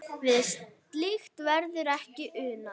Við slíkt verður ekki unað.